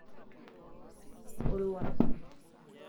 iyata olwuasa